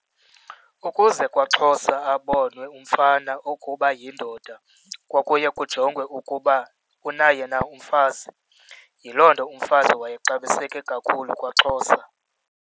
Ukuze kwaXhosa abonwe umfana ukuba uyindoda kwakuye kujongwe ukuba unaye na umfazi, yiloo nto umfazi wayexabiseke kakhulu kwaXhosa.